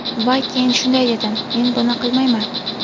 Va keyin shunday dedim: ‘Men buni qilmayman’.